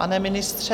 Pane ministře?